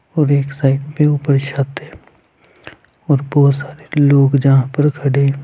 और एक साइड पे ऊपर छत है और बहुत सारे लोग जहाँं पर खड़े हैं।